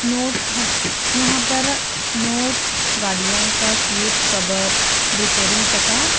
note हम यहाँ पर नोट गाड़ियाँ का सीट कवर रिपेयरिंग तथा--